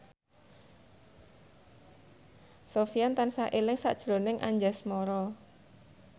Sofyan tansah eling sakjroning Anjasmara